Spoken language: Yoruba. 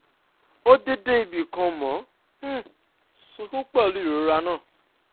obgyn wa sọ pé ààyè nipt wà ńílẹ̀ fún ìfẹsẹ̀múlẹ̀ sí sí i